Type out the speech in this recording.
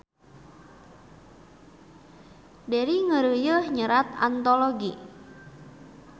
Deri ngeureuyeuh nyerat antologi